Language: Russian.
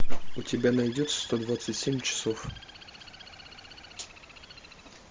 у тебя найдется сто двадцать семь часов